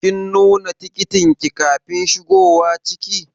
Kin nuna tikitin ki kafin shigowa ciki?